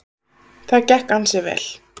Það gekk ansi vel.